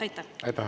Aitäh!